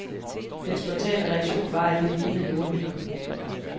Den spontane reaktion var, at det lignede jordhytter.